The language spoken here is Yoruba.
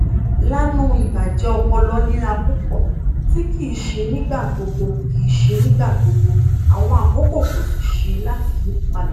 laanu ibajẹ ọpọlọ nira pupọ ti kii ṣe nigbagbogbo kii ṣe nigbagbogbo awọn akoko ko ṣee ṣe lati yiyipada